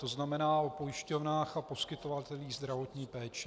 To znamená o pojišťovnách a poskytovatelích zdravotní péče.